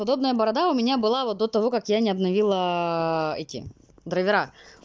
удобная борода у меня была вот до того как я не обновила эти драйвера